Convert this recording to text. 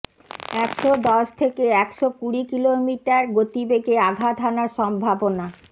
একশো দশ থেকে একশো কুড়ি কিলোমিটার গতিবেগে আঘাত হানার সম্ভাবনা